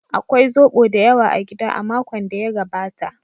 Akwai zoɓo da yawa a gida a makon da ya gabata.